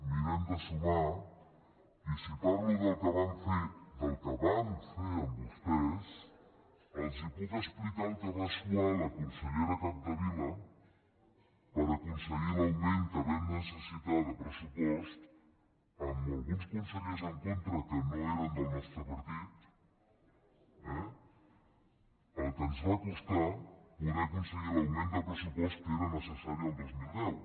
mirem de sumar i si parlo del que vam fer del que vam fer amb vostès els puc explicar el que va suar la consellera capdevila per aconseguir l’augment que vam necessitar de pressupost amb alguns consellers en contra que no eren del nostre partit eh el que ens va costar poder aconseguir l’augment de pressupost que era necessari el dos mil deu